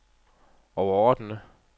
overordnede